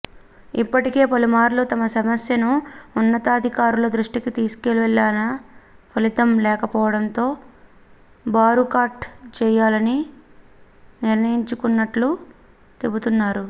ఇప్పటికే పలుమార్లు తమ సమస్యను ఉన్నతాధికారుల దృష్టికి తీసుకువెళ్లినా ఫలితం లేకపోవడంతో బారుకాట్ చేయాలనే నిర్ణయం తీసుకున్నట్లు చెబుతున్నారు